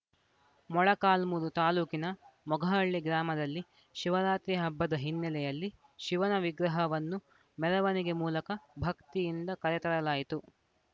ಮೊಳಕಾಲ್ಮುರು ತಾಲೂಕಿನ ಮೊಗಹಳ್ಳಿ ಗ್ರಾಮದಲ್ಲಿ ಶಿವರಾತ್ರಿ ಹಬ್ಬದ ಹಿನ್ನೆಲೆಯಲ್ಲಿ ಶಿವನ ವಿಗ್ರಹವನ್ನು ಮೆರವಣಿಗೆ ಮೂಲಕ ಭಕ್ತಿಯಿಂದ ಕರೆತರಲಾಯಿತು